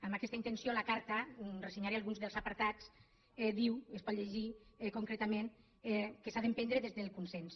amb aquesta intenció la carta ressenyaré alguns dels apartats diu es pot llegir concretament que s’ha d’emprendre des del consens